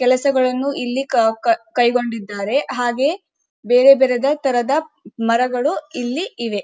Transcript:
ಕೆಲಸಗಳನ್ನು ಇಲ್ಲಿ ಕೈಗೊಂಡಿದ್ದ್ದಾರೆ ಹಾಗೆ ಬೇರೆ ಬೇರೆ ತರದ ಮರಗಳು ಇಲ್ಲಿ ಇವೆ.